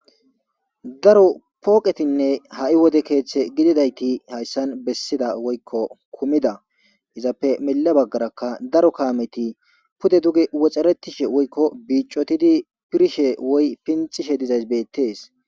daro pooqetinne ha'i wode keeththe gididayti hayssan bessida woykko kumida izappe mele baggaraka daro kaameti pude duge woxxeretishe woykko biicotidi pirshe woy pinxishe dizays beettees